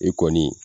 E kɔni